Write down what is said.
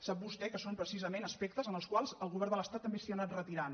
sap vostè que són precisament aspectes dels quals el govern de l’estat també s’ha anat retirant